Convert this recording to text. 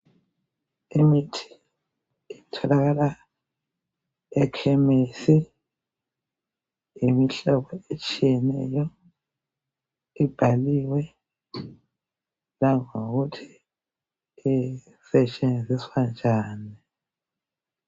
Imithi etholakala ekhemisi yimihlobo etshiyeneyo ibhaliwe langokuthi isetshenziswa njani.